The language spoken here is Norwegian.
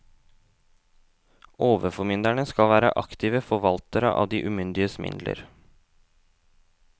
Overformynderne skal være aktive forvaltere av de umyndiges midler.